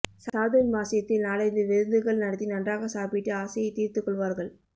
சாதுர்மாஸ்யத்தில் நாலைந்து விருந்துகள் நடத்தி நன்றாக சாப்பிட்டு ஆசையை தீர்த்துக் கொள்வார்கள்